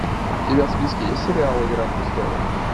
у тебя в списке есть сериал игра престолов